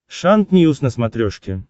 шант ньюс на смотрешке